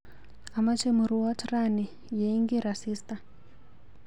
Amache murwoot rani yeing'ir asista.